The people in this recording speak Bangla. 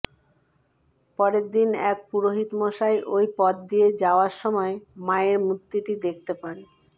পরের দিন এক পুরোহিত মশাই ওই পথ দিয়ে যাওয়ার সময় মায়ের মূর্তিটি দেখতে পান